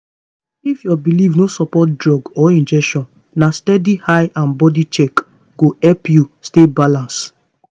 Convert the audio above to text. if your belief no support drug or injection na steady eye and body check go help you stay balanced.